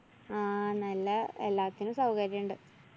ആ നല്ല എല്ലാറ്റിനും സൗകര്യണ്ട്.